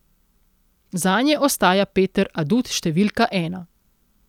Zanje ostaja Peter adut številka ena.